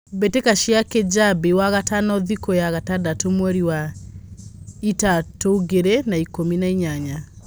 mbĩtĩka cia Kĩjabi wagatano thikũya gatandatũmweri wa ĩtatũngiri na ikũmi na inyanya.